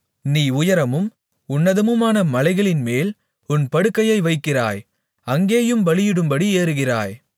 நீ உயரமும் உன்னதமுமான மலைகளின்மேல் உன் படுக்கையை வைக்கிறாய் அங்கேயும் பலியிடும்படி ஏறுகிறாய்